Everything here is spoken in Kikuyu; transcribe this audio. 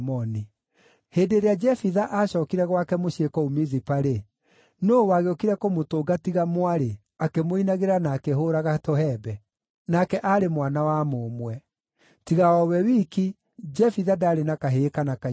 Hĩndĩ ĩrĩa Jefitha aacookire gwake mũciĩ kũu Mizipa-rĩ, nũũ wagĩũkire kũmũtũnga tiga mwarĩ, akĩmũinagĩra na akĩhũũraga tũhembe! Nake aarĩ mwana wa mũmwe. Tiga o we wiki, Jefitha ndaarĩ na kahĩĩ kana kairĩtu.